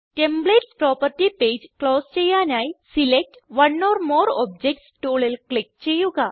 templates property page close ചെയ്യാനായി select one or more objects ടൂളിൽ click ചെയ്യുക